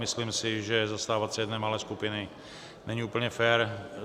Myslím si, že zastávat se jedné malé skupiny není úplně fér.